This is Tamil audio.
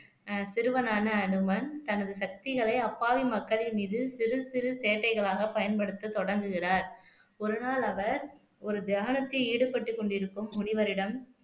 ஆஹ் சிறுவனான அனுமன் தனது சக்திகளை அப்பாவி மக்களின் மீது சிறு சிறு சேட்டைகளாக பயன்படுத்த தொடங்குகிறார் ஒரு நாள் அவர் ஒரு தியானத்தில் ஈடுபட்டுக் கொண்டிருக்கும் முனிவரிடம்